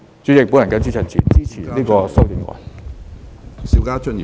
主席，我謹此陳辭，支持《條例草案》。